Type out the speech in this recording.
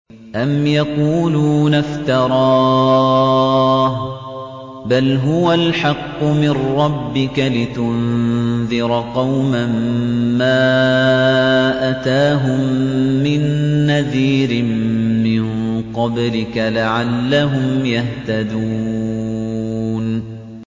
أَمْ يَقُولُونَ افْتَرَاهُ ۚ بَلْ هُوَ الْحَقُّ مِن رَّبِّكَ لِتُنذِرَ قَوْمًا مَّا أَتَاهُم مِّن نَّذِيرٍ مِّن قَبْلِكَ لَعَلَّهُمْ يَهْتَدُونَ